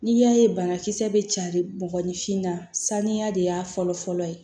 N'i y'a ye banakisɛ bɛ carin bɔgɔfin na sanuya de y'a fɔlɔ fɔlɔ ye